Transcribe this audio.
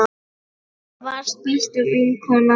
Þú varst besta vinkona mín.